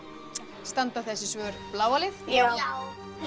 standa þessi svör bláa lið já